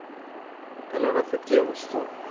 Hello Rafi কি অবস্থা?